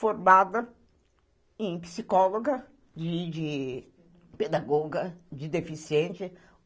Formada em psicóloga, de pedagoga, de deficiente.